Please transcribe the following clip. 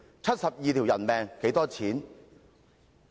七十二條人命又值多少錢？